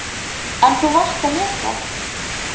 En þú varst að lesa?